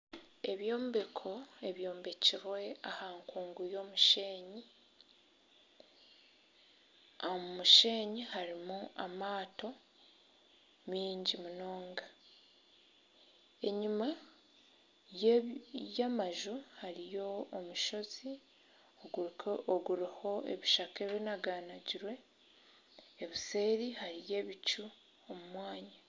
Ebyombeko ebyombekirwe aha nkungu y'omushenyi , omushenyi harimu amaato miingi munonga. Enyuma y'amaju hariyo omushozi oguriho ebishaka ebinaganagirwe obuseeri hariyo ebicu omu mwanya.